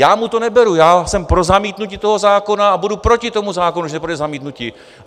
Já mu to neberu, já jsem pro zamítnutí toho zákona a budu proti tomu zákonu, že bude zamítnutí.